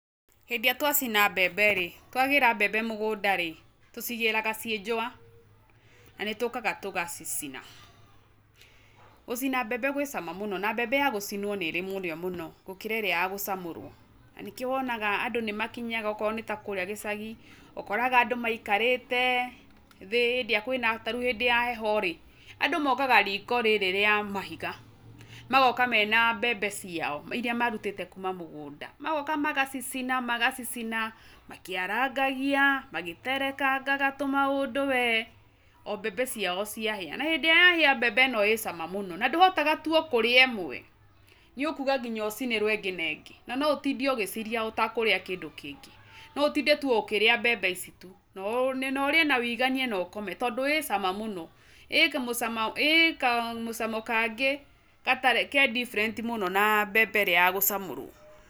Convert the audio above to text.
Hĩndĩ ĩrĩa twa cina mbembe rĩ, twagĩra mbembe mũgũnda rĩ, tũcigĩraga ciĩ njũwa, na nĩ tũkaga tũgacicina. Gũcina mbembe gwĩ cama mũno na mbembe ya gũcinwo nĩrĩ mũrĩo mũno gũkĩra ĩrĩa ya gũcamũrwo, na nĩkĩo wonaga andũ nĩ makinyaga okorwo nĩ takũrĩa gĩcagi, ũkoraga andũ maikarĩte thĩ hĩndĩ ĩrĩa kwĩna, tarĩu hĩndĩ ya heho rĩ, andũ mokaga riko rĩrĩ rĩa mahiga, magoka mena mbembe ciao irĩa marutĩte kuma mũgũnda. Magoka magacicina magacicina makĩarangagia, magĩterekangaga tũ maũndũ we, o mbembe ciao cia hĩa. Na hĩndĩ ĩrĩa ya hĩa mbembe ino ĩ cama mũno, na ndũhotaga tũ o kũrĩa ĩmwe, nĩ ũkuga nginya ũcinarwo ĩngĩ na ĩngĩ, na no ũtinde ũgĩciria ũtekũrĩa kĩndũ kĩngĩ. No ũtinde tu ũkĩrĩa mbembe ici tu, na ũrĩe na wĩiganie no ũkome. Tondũ ĩ cama mũno, ĩ kamũcama, ĩ kamũcamo kangĩ gatarĩ, ke different mũno na mbembe ĩrĩa ya gũcamũrwo.